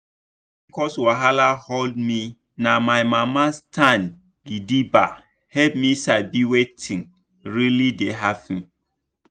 when pcos wahala hold me na my mama stand gidigba help me sabi wetin really dey happen.